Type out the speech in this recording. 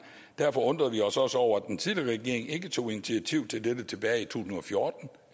derfor undrede vi os også over at den tidligere regering ikke tog initiativ til dette tilbage i tusind og fjorten